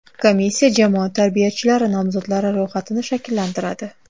Komissiya jamoat tarbiyachilari nomzodlari ro‘yxatini shakllantiradi.